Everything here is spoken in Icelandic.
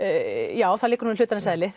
já það liggur nú í hlutarins eðli